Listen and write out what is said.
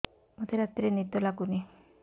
ମୋତେ ରାତିରେ ନିଦ ଲାଗୁନି